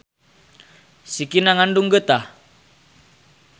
Sikina ngandung geutah.